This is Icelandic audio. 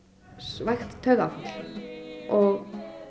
vægt taugaáfall og